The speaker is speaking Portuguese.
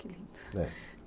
Que lindo.